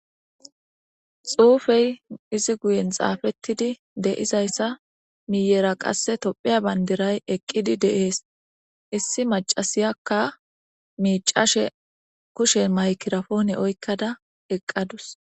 Xuufey issi guyen deyizasa meyera tophiya bandira eqiddi deyes. Issi maccashiyaka miccashe kushe mayigrapone oyikada eqaduse.